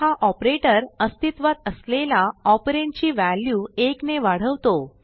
हा operatorअस्तित्वात असलेला ऑपरंड ची व्हॅल्यू 1ने वाढवतो